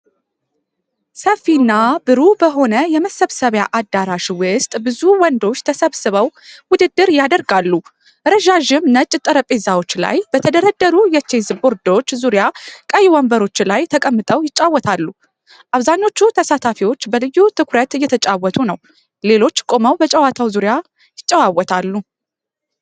ሰፊና ብሩህ በሆነ የመሰብሰቢያ አዳራሽ ውስጥ ብዙ ወንዶች ተሰብስበው ውድድር ያደርጋሉ። ረዣዥም ነጭ ጠረጴዛዎች ላይ በተደረደሩ የቼዝ ቦርዶች ዙሪያ ቀይ ወንበሮች ላይ ተቀምጠው ይጫወታሉ። አብዛኞቹ ተሳታፊዎች በልዩ ትኩረት እየተጫወቱ ነው፣ ሌሎች ቆመው በጨዋታው ዙሪያ ይጨዋወታሉ።